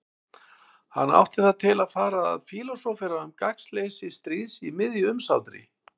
Hann átti það til að fara að fílósófera um gagnsleysi stríðs í miðju umsátri.